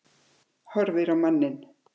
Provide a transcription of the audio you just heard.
Horfir á manninn.